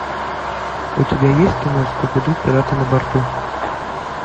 у тебя есть кино скуби ду пираты на борту